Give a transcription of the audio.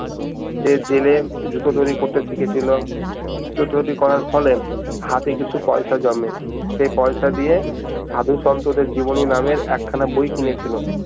সে জেলে জুতো তৈরী করতে শিখেছিল জুতো তৈরী করার ফলে হাতে কিছু পয়সা জমে সে পয়সা দিয়ে সাধু সন্তদের জীবনী নামের এক খানা বই কিনেছিল